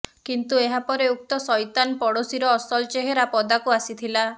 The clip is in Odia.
କିନ୍ତୁ ଏହା ପରେ ଉକ୍ତ ସଇତାନ ପଡୋଶୀର ଅସଲ ଚେହେରା ପଦାକୁ ଆସିଥିଲା